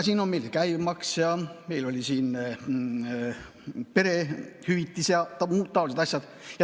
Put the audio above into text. Siin olid meil juba käibemaks ja perehüvitised ja muud taolised asjad.